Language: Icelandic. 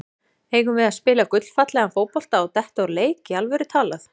Eigum við að spila gullfallegan fótbolta og detta úr leik, í alvöru talað?